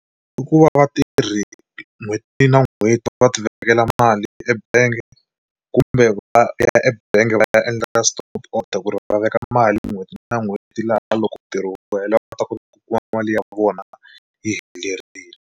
I ku va vatirhi n'hweti na n'hweti va ti vekela mali ebangi kumbe va ya ebangi va ya endla ka stop order ku ri va veka mali n'hweti na n'hweti laha loko ntirho wu hela va ta kota ku kuma mali ya vona yi helerile.